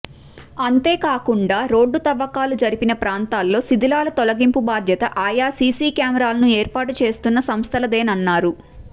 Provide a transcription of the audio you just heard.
అంతేకాకుండా రోడ్డు తవ్వకాలు జరిపిన ప్రాంతాల్లో శిథిలాల తొలగింపు బాధ్యత ఆయా సీసీ కెమెరాలను ఏర్పాటు చేస్తున్న సంస్థలదేనన్నారు